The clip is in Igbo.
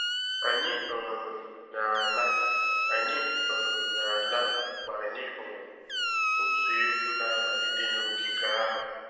Anyị um na-ala Anyị um na-ala mgbe anyị hụrụ otu egwu na-amalite n'ogige ahụ